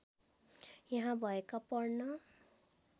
यहाँ भएका पढ्न